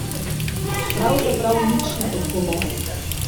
Pravzaprav nič ne odgovori.